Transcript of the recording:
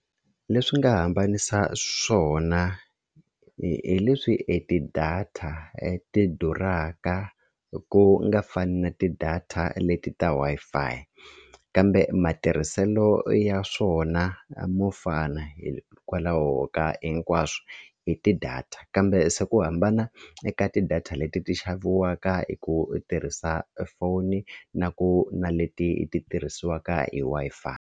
Leswi nga hambanisa swona hi leswi e ti-data ti durhaka ku nga fani na ti-data leti ta Wi-Fi kambe matirhiselo ya swona mo fana hikwalaho ka hinkwaswo i ti-data kambe se ku hambana eka ti-data leti ti xaviwaka hi ku tirhisa foni na ku na leti ti tirhisiwaka hi Wi-Fi.